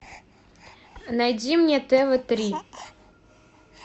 найди мне тв три